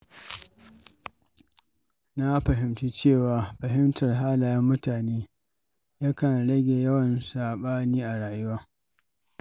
Na fahimci cewa fahimtar halayen mutane yakan rage yawan saɓani a rayuwa.